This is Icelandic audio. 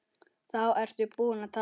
Þá ertu búinn að tapa.